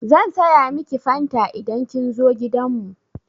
Zan saya miki fanta idan kin zo gidan mu.